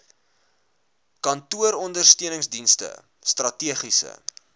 kantooronder steuningsdienste strategiese